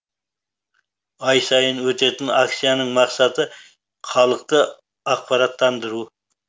ай сайын өтетін акцияның мақсаты халықты ақпараттандыру